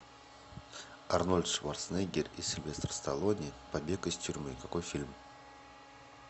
арнольд шварценеггер и сильвестр сталлоне побег из тюрьмы какой фильм